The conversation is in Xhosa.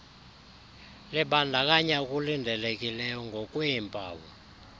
libandakanya okulindelekileyo ngokweempawu